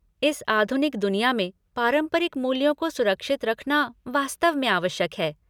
इस आधुनिक दुनिया में पारंपरिक मूल्यों को सुरक्षित रखना वास्तव में आवश्यक है।